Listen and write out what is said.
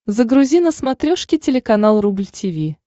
загрузи на смотрешке телеканал рубль ти ви